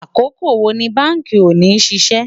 àkókò wò ní bánkì òní ṣiṣẹ